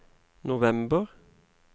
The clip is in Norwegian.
november